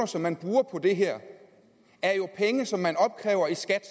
som man bruger på det her er jo penge som man opkræver i skat